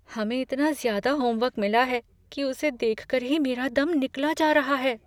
हमें इतना ज़्यादा होमवर्क मिला है कि उसे देख कर ही मेरा दम निकला जा रहा है।